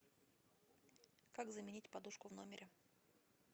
как заменить подушку в номере